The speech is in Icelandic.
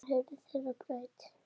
Síðan hurfu þeir á braut.